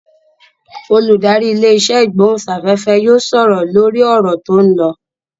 Olùdarí ilé-isẹ́ ìgbóhùnsáfẹ́fẹ́ yóò sọ̀rọ̀ lórí ọ̀rọ̀ tó ń lọ.